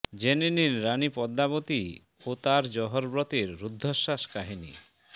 জেনে নিন রানি পদ্মাবতী ও তাঁর জহর ব্রতের রূদ্ধশ্বাস কাহিনি